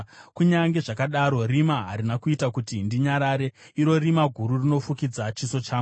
Kunyange zvakadaro rima harina kuita kuti ndinyarare, iro rima guru rinofukidza chiso changu.